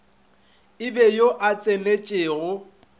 e be yo a tsenetšego